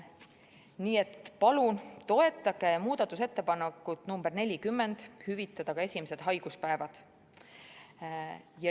Nii et palun toetage muudatusettepanekut nr 40, et hüvitataks ka esimesed haiguspäevad.